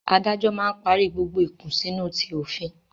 Adájọ́ máa ń parí gbogbo ìkùnsínú ti òfin